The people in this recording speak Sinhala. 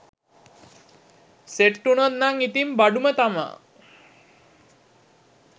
සෙට් වුණොත් නම් ඉතින් බඩුම තමා